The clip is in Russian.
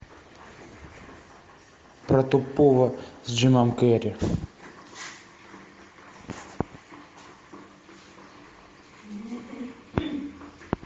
про тупого с джимом керри